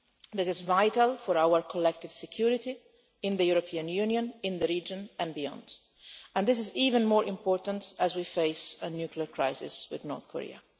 This is vital for our collective security in the European Union, in the region and beyond, and it is even more important as we face a nuclear crisis with North Korea.